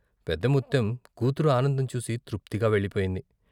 పెద్దముత్తెం కూతురు ఆనందం చూసి తృప్తిగా వెళ్ళి పోయింది.